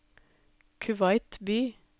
Kuwait by